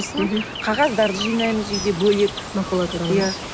қағаздарды жинаймыз үйде бөлек макулатураны ма иә